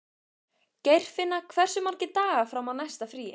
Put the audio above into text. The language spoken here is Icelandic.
Geirfinna, hversu margir dagar fram að næsta fríi?